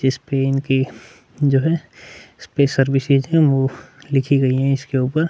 जिसपे इनकी जो है सर्विसेज है वो लिखी गयी है इसके ऊपर--